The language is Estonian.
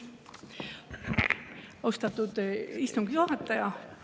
Austatud istungi juhataja!